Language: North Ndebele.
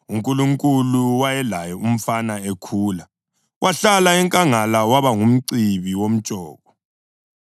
UNkulunkulu wayelaye umfana ekhula. Wahlala enkangala waba ngumcibi womtshoko.